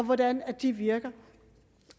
hvordan de virker